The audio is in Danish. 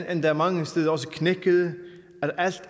endda mange steder også knækkede at alt